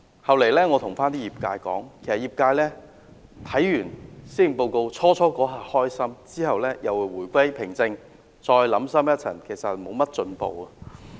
後來我對業界說，其實業界看完施政報告，最初一刻感到高興，然後回歸平靜，再想深一層，其實沒有進步。